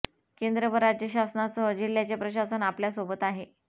केंद्र व राज्य शासनासह जिल्ह्याचे प्रशासन आपल्या सोबत आहे